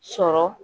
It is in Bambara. Sɔrɔ